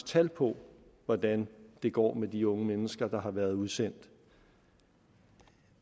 tal på hvordan det går med de unge mennesker der har været udsendt